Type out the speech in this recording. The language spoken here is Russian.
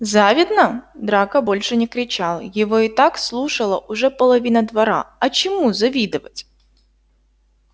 завидно драко больше не кричал его и так слушала уже половина двора а чему завидовать